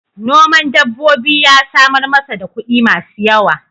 Noman dabbobi ya samar masa da kuɗi masu yawa.